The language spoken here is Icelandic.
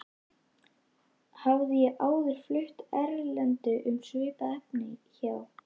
Hafði ég áður flutt erindi um svipað efni hjá